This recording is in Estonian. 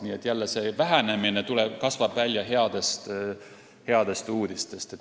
Niisiis, jälle, vähenemine kasvab välja headest uudistest.